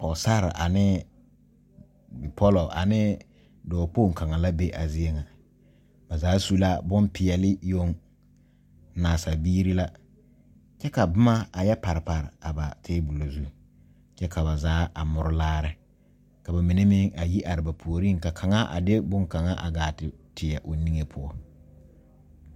Pɔɔsarre anee bipɔlɔ anee pɔɔ kpoŋ kaŋa la be a zie ŋa ba zaa su la bon peɛɛle yoŋ naasa biire la kyɛ ka bomma a yɛ pare pare a ba tabolɔ zu kyɛ ka ba zaa a more laare ka ba mine meŋ a yi are ba puoriŋ ka kaŋa a de bonkaŋ a gaa te teɛ o die poɔ.